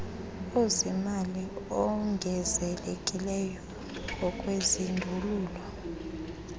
ezimali ongezelelekileyo ngokwezindululo